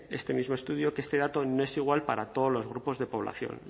este mismo estudio que este dato no es igual para todos los grupos de población